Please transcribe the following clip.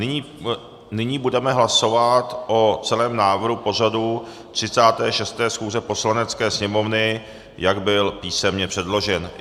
Nyní budeme hlasovat o celém návrhu pořadu 36. schůze Poslanecké sněmovny, jak byl písemně předložen.